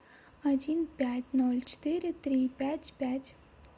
один пять ноль четыре три пять пять